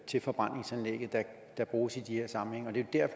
til forbrændingsanlægget der bruges i de her sammenhænge og det er